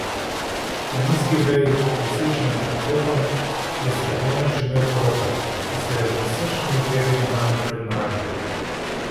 Na nizki veji, viseči nad potokom, je zgrbljeno čemel krokar, ki se je z nasršenim perjem branil pred mrazom.